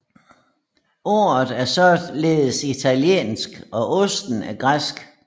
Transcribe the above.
Ordet er således italiensk og osten er græsk